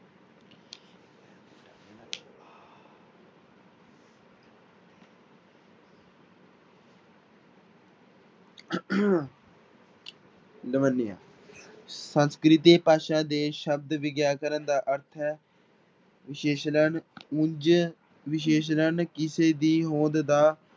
ਲਵੰਨਿਆ ਸੰਸਕ੍ਰਿਤੀ ਭਾਸ਼ਾ ਦੇ ਸ਼ਬਦ ਵਿਆਕਰਨ ਦਾ ਅਰਥ ਹੈ ਵਿਸ਼ੇਸ਼ਣ ਵਿਸ਼ਸ਼ਣ ਕਿਸੇ ਦੀ ਹੋਂਦ ਦਾ